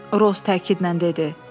Roz təkidlə dedi.